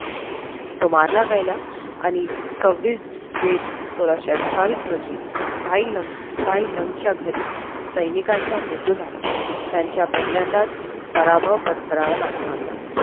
तो मारला गेला आणि सव्वीस जेठ आणि सोळाशे अठ्ठावीस रोजी महिलांच्या घरी सैनिकांचा मृत्यू झाला त्यांचा पहिल्यांदाच पराभव पत्करावा लागला होता